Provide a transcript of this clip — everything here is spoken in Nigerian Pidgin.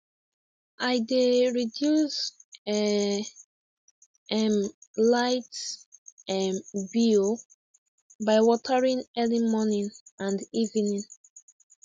i dey reduce um um light um bill by watering early morning and evening